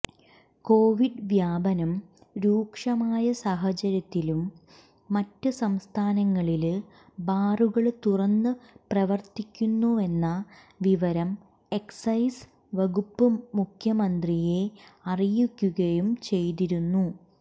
Covid വ്യാപനം രൂക്ഷമായ സാഹചര്യത്തിലും മറ്റ് സംസ്ഥാനങ്ങളില് ബാറുകള് തുറന്നു പ്രവര്ത്തിക്കുന്നുവെന്ന വിവരം എക്സൈസ് വകുപ്പ് മുഖ്യമന്ത്രിയെ അറിയിക്കുകയും ചെയ്തിരുന്നു